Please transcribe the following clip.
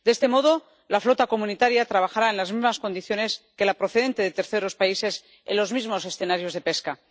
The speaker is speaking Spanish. De este modo, la flota comunitaria trabajará en las mismas condiciones que la procedente de terceros países en los mismos escenarios de pesca.